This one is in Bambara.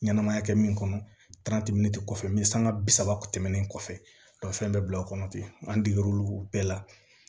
Ɲɛnɛmaya kɛ min kɔnɔ kɔfɛ n be sanga bi saba tɛmɛlen kɔfɛ fɛn be bila o kɔnɔ ten an deger'olu bɛɛ la